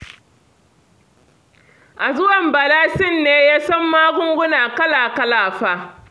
A zuwan Bala Sin ne ya san magunguna kala-kala fa